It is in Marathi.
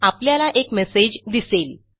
आपल्याला एक मेसेज दिसेल